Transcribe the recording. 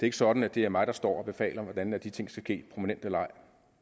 ikke sådan at det er mig der står og befaler hvornår de ting skal ske prominent eller ej